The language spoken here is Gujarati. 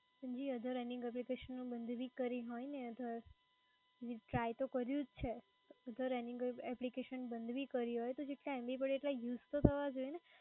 જી another application બંધ ભી કરી હોય, અને અથવા ટ્રાય તો કર્યું જ છે. OTHER RUNNING APPLICATION બંધ ભી કરી હોય જેટલા MBUSE તો થવો જોઈએ ને?